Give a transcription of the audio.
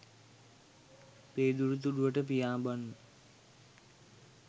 පේදුරු තුඩුවට පියාඹන්න